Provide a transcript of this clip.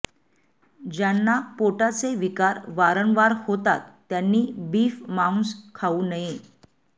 ज्यांना पोटाचे विकार वारंवार होतात त्यांनी बीफ मांस खाऊ नये